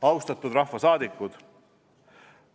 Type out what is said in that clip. Austatud rahvasaadikud!